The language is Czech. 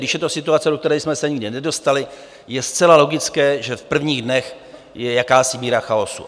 Když je to situace, do které jsme se nikdy nedostali, je zcela logické, že v prvních dnech je jakási míra chaosu.